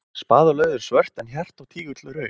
Spaði og lauf eru svört en hjarta og tígul rauð.